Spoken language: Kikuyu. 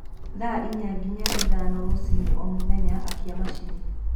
thaa ĩnya nginya ithano rũcĩĩnĩ o mũthenya akĩa machĩnĩ